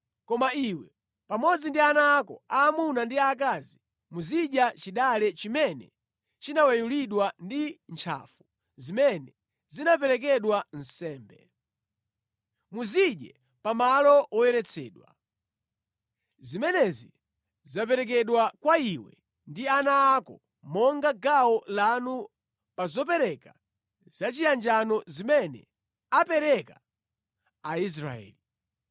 Koma iwe pamodzi ndi ana ako aamuna ndi aakazi muzidya chidale chimene chinaweyulidwa ndi ntchafu zimene zinaperekedwa nsembe. Muzidye pamalo woyeretsedwa. Zimenezi zaperekedwa kwa iwe ndi ana ako monga gawo lanu pa zopereka zachiyanjano zimene apereka Aisraeli.